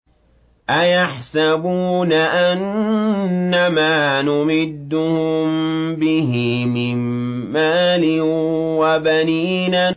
أَيَحْسَبُونَ أَنَّمَا نُمِدُّهُم بِهِ مِن مَّالٍ وَبَنِينَ